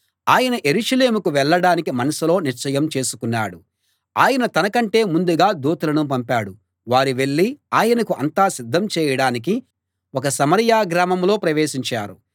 ఆయన యెరూషలేముకు వెళ్ళడానికి మనసులో నిశ్చయం చేసుకున్నాడు ఆయన తనకంటే ముందుగా దూతలను పంపాడు వారు వెళ్ళి ఆయనకు అంతా సిద్ధం చేయడానికి ఒక సమరయ గ్రామంలో ప్రవేశించారు